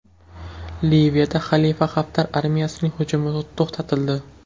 Liviyada Xalifa Xaftar armiyasining hujumi to‘xtatildi.